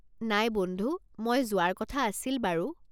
নাই বন্ধু, মই যোৱাৰ কথা আছিল বাৰু।